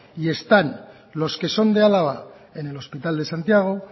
y están los que son de álava en el hospital de santiago